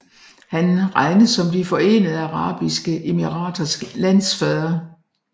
Han regnes som De Forenede Arabiske Emiraters landsfader